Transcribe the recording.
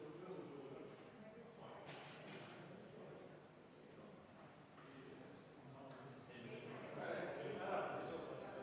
Tulemusega poolt 37 ja vastu 4, leidis ettepanek toetust.